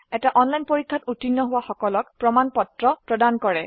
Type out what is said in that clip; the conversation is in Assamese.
এটা অনলাইন পৰীক্ষাত উত্তীৰ্ণ হোৱা সকলক প্ৰমাণ পত্ৰ প্ৰদান কৰে